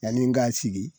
Yanni n k'a sigi